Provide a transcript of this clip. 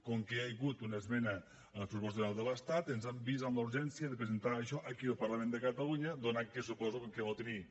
com que hi ha hagut una esmena als pressupostos generals de l’estat ens hem vist en la urgència de presentar això aquí al parlament de catalunya donat que suposo que al no tenir